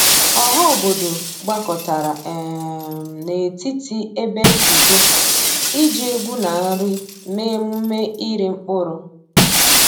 Ọha obodo gbakọtara um n’etiti ebe nzukọ iji egwu na nri mee emume iri mkpụrụ.